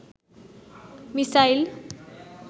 missile